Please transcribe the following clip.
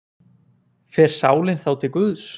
Fer sálin þá til guðs?